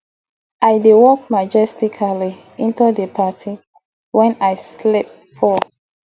i dey walk majestically into the party wen i slip fall